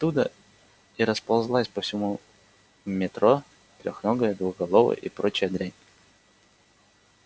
оттуда и расползалась по всему метро трёхногая двухголовая и прочая дрянь